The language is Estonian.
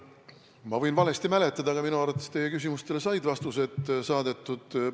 Ma võin valesti mäletada, aga minu arvates sai teie küsimustele vastused saadetud.